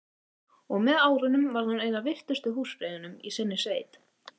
Og með árunum varð hún ein af virtustu húsfreyjunum í sinni sveit.